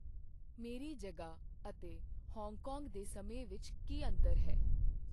ਮੇਰੀ ਜਗ੍ਹਾਂ ਅਤੇ ਹਾਂਗਕਾਂਗ ਦੇ ਸਮੇਂ ਵਿਚਕਾਰ ਕੀ ਅੰਤਰ ਹੈ?